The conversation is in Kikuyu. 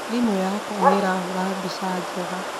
Thimũ yakwa nĩ ĩrahũra mbica njega